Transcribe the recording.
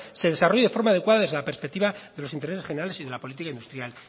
se desarrolle de forma adecuada desde la perspectiva de los intereses generales y de la política industrial